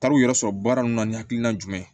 Taar'u yɛrɛ sɔrɔ baara ninnu na ni hakilina jumɛn